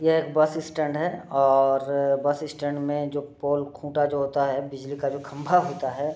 यह एक bus stand है और बस स्टैंड में जो पोल खुटा जो होता है बिजली का जो खम्भा होता है।